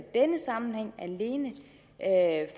denne sammenhæng alene